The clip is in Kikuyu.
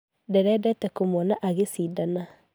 Ndĩrendete kũmuona ageshidana.